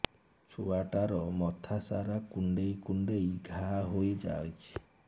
ଛୁଆଟାର ମଥା ସାରା କୁଂଡେଇ କୁଂଡେଇ ଘାଆ ହୋଇ ଯାଇଛି